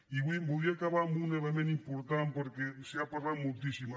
i voldria acabar amb un element important perquè se n’ha parlat moltíssim